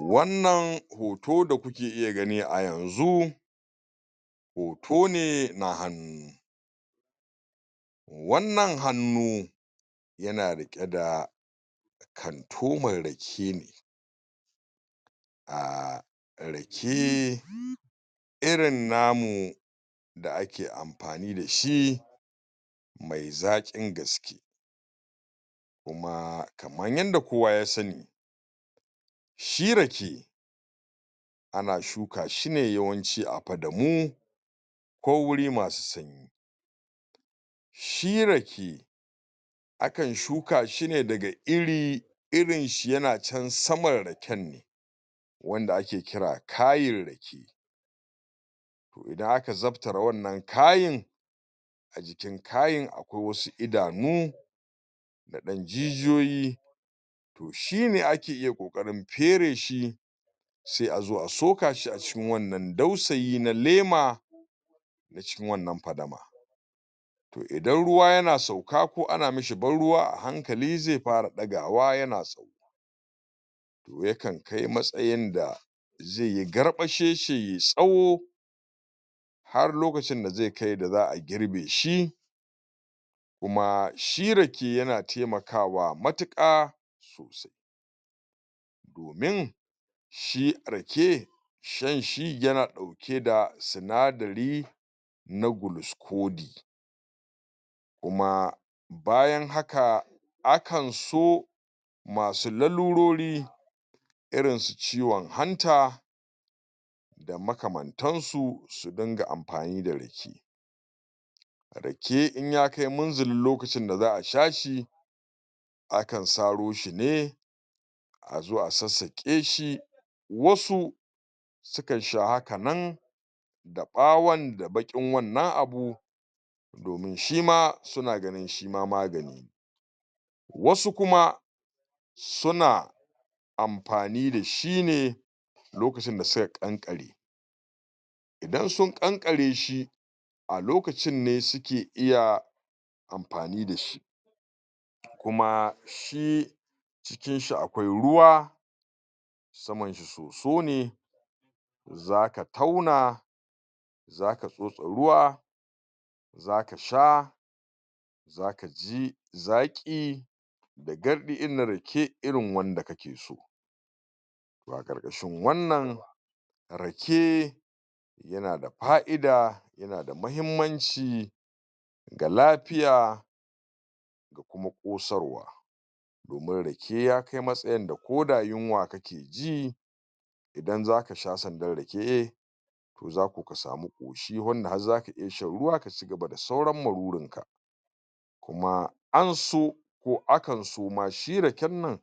Wannan hoto da kuke iya gani a yanzu hoto ne na hannu. Wannan hannu yana riƙe da kantoman rake, ah rake irin namu da ake amfani da shi mai zaƙin gaske kuma kaman yadda kowa ya san shi rake ana shuka shi ne yawanci a fadamu ko wuri masu sanyi shi rake akan shuka shi ne daga iri, irin shi yana can saman raken ne wanda ake kira kayin rake idan aka zabtare wannan kayin, a jikin kayin akwai wassu idanu da ɗan jijiyoyi shine ake iya ƙoƙarin fere shi sai a zo a soka shi a jikin wannan dausayi na lema na cikin wannan fadama o idan ruwa yana sauka ko ana mishi ban ruwa a hankali zai fara ɗagawa yana yai na so to ya kan kai matsayin da zai yi garɓasheshe yai tsawo har ya kai lokacin da za a girbe shi kuma shi rake yana taimakawa matuka domin shi rake shan shi yana ɗauke da sinadari na na gluskodi kuma bayan haka akan so masu lalurori irinsu ciwon hanta a makamantansu su rinƙa amfani da rake. Rake in ya kai munzalin lokacin da za a sha shi akan saro shi ne a zo a sassaƙe wassu su kan sha haka ne da ɓawon da baƙin wannan abu shima suna ganin shi ma magani ne. wasu kuma suna amfani da shi ne lokacin da suka kankare idan sun kankare shi a lokacin ne suke iya amfani dashi kuma shi jikin shi akwai ruwa saman shi soso ne za ka tauna za ka tsotse ruwa za kasha za ka ji zaki da gardi irin na rake to a ƙarƙashin wannan ake yana da faʼida yana da mahimmanci ga lafiya da kuma kosarwa domin ya kai ga ko yunwa ka ke ji idan za sha sandan rake to za ko ka ƙoshi har Ka sha ruwa ka cigaba da sauran maruri an so ko akan so ma a sha a shi raken nan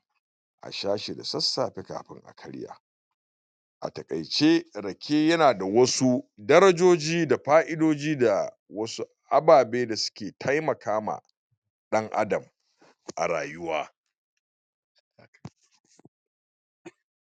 a sha shi da sassafe kafin a karya. A taƙaice, rake yana da wassu darajoji da faʼidoji da wasu ababe da suke taimaka ma ɗan Adam a rayuwa.